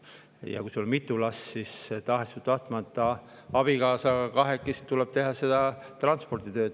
Ja kui sul on mitu last, siis tahes-tahtmata tuleb abikaasaga kahekesi teha seda transporditööd.